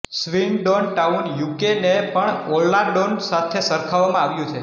Swindon Town યુકેને પણ Orlando સાથે સરખાવવામાં આવ્યું છે